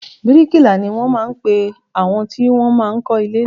Bíríkilà ni wọn máa ń pe àwọn tí wọn máa ń kọ́ ilé.